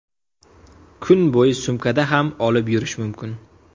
Kun bo‘yi sumkada ham olib yurish mumkin.